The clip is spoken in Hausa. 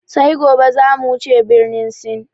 Sai gobe zamu wuce birnin Sin